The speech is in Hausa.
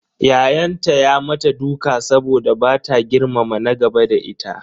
Ya'yanta ya mata duka saboda bata girmama na gaba da ita.